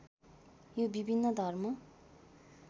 यो विभिन्न धर्म